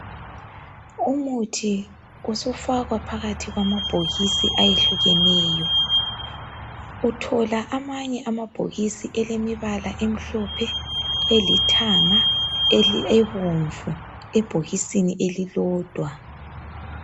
Umuthi usufakwa phakathi kwamabhokisi ayehlukeneyo uthola amanye amabhokisi elemibala emhlophe elithanga ebomvu ebhokisini elilodwa